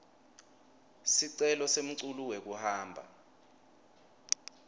sicelo semculu wekuhamba